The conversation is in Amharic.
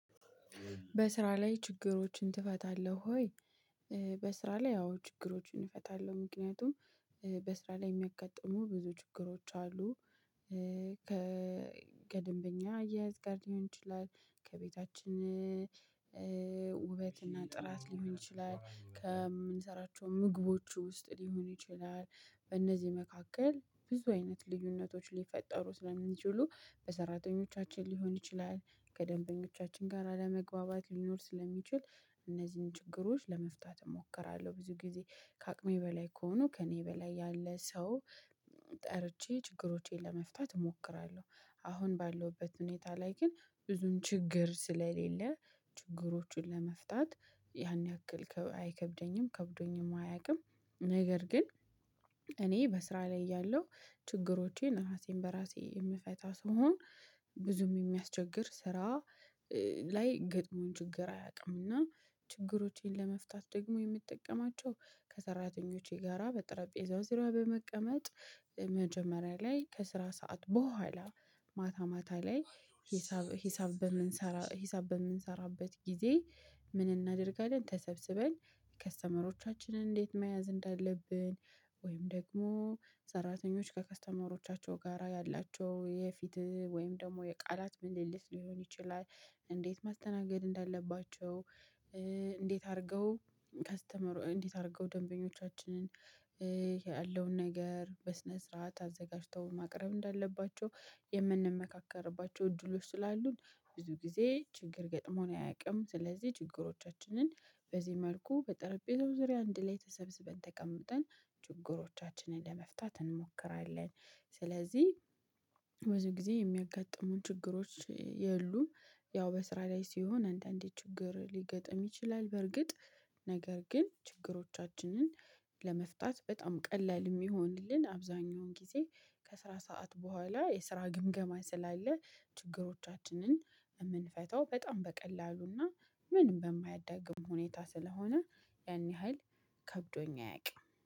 በስራ ላይ ችግሮችን ትፈታለህ ወይ? በስራ ላይ አዎ ችግሮችን እፈታለሁ ምክንያቱም በስራ ላይ እሚያጋጥሙ ብዙ ችግሮች አሉ። ከደንበኛ አያያዝ ጋር ሊሆን ይችላል ከቤታችን ውበት እና ጥራት ሊሆን ይችላል ከምንሰራቸው ምግቦች ውስጥ ሊሆን ይችላል በእነዚህ መካከል ብዙ አይነት ልዩነቶች ሊፈጠሩ ስለሚችሉ በሰራተኞቻችን ሊሆን ይችላል ከደንበኞቻችን ጋር አለመግባባት ሊኖር ስለሚችል እነዚህን ችግሮች ለመፍታት እሞክራለሁ። ብዙ ጊዜ ከአቅሜ በላይ ከሆኑ ከእኔ በላይ ያለ ሰው ጠርቼ ችግሮቼን ለመፍታት እሞክራለሁ። አሁን ባለውበት ሁኔታ ላይ ግን ብዙን ችግር ስለሌለ ችግሮቹን ለመፍታት ያን ያክል አይከብደኝም ከብዶኝም አያውቅም። ነገር ግን እኔ በስራ ላይ ያለው ችግሮቼን ራሴን በራሴ የምፈታ ሰው ነው። ብዙም የሚያስቸግር ስራ ላይ ገጥሞን ችግር አያውቅም። እና ችግሮቼን ለመፍታት ደግሞ የምትጠቀማቸው ከሰራተኞቼ ጋራ በጠረጴዛው ስራ በመቀመጥ መጀመሪያ ላይ ከስራ ሰዓት ቡሃላ ማታ ማታ ላይ ሂሳብ ሂሳብ በምንሰራ ሂሳብ በምንሰራበት ጊዜ ምን እናደርጋለን? ተሰብስበን ከስተመሮቻችንን እንዴት መያዝ እንዳለብን። ወይም ደግሞ ሰራተኞች ከከስተመሮቻቸው ጋራ ያላቸው የፊት ወይም ደግሞ የቃላት ምልልት ሊሆን ይችላል። እንዴት ማስተናገድ እንዳለባቸው? እንዴት አድርገው ከስተመሩ እንዴት አድርገው ደንበኞቻችንን ነገር በስነ ስርዓት አዘጋጅተው ማቅረብ እንዳለባቸው። የምንመካከርባቸው እድሎች ስላሉን ብዙ ጊዜ ችግር ገጥሞን አያውቅም። ስለዚህ ችግሮቻችንን በዚህ መልኩ በጠረጴዛው ዙሪያ አንድ ላይ ተሰብስበን ተቀምጠን ችግሮቻችንን ለመፍታት እንሞክራለን። ስለዚህ ብዙ ጊዜ የሚያጋጥሙን ችግሮች የሉም። ያው በስራ ላይ ሲሆን አንዳንዴ ችግር ሊገጥም ይችላል። በርግጥ ነገር ግን ችግሮቻችንን ለመፍታት በጣም ቀላል እሚሆንልን አብዛኛውን ጊዜ። ከስራ ሰዓት በኋላ የስራ ግምገማ ስላለ ችግሮቻችንን የምንፈታው በጣም በቀላሉና ምንም በማያዳግም ሁኔታ ስለሆነ። ያን ያህል ከብዶኝ አያውቅም